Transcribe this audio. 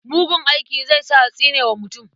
Mugun aiki zai sa a tsine wa mutum.